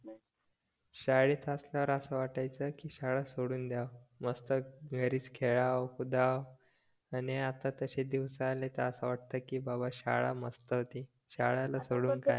शाळेत असताना असं वाटायचं की शाळा सोडून द्या मस्त घरीच खेळावं कुदाव आणि आता तशी दिवसाला त अस वाटतं की बाबा शाळा मस्त होती शाळेला सोडून काय